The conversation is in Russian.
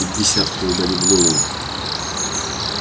пятьдесят кто угодит в голову